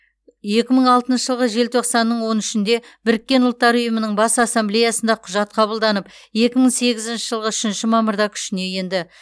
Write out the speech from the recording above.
екі мың алтыншы жылғы желтоқсанның он үшінде біріккен ұлттар ұйымының бас ассамблеясында құжат қабылданып екі мың сегізінші жылғы үшінші мамырда күшіне енді